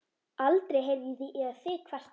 Aldrei heyrði ég þig kvarta.